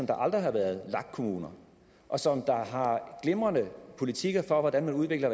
der aldrig har været lag kommuner og som har glimrende politikker for hvordan man udvikler